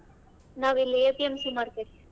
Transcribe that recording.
ನಾವಿಲ್ಲೆ APMC market .